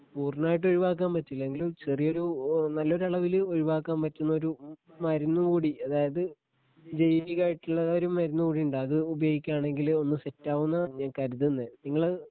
പൂർണമായിട്ട് ഒഴിവാക്കാൻ പറ്റില്ല എങ്കിലും ചെറിയൊരു ഏഹ് നല്ലൊരളവില് ഒഴിവാക്കാൻ പറ്റുന്നൊരു മരുന്നു കൂടി അതായത് ജൈവികമായിട്ടുള്ള ഒരു മരുന്നു കൂടിയുണ്ട് അത് ഉപയോഗിക്കുവാണെങ്കില് ഒന്ന് സെറ്റാവൂന്ന ഞാൻ കരുതുന്നെ നിങ്ങള്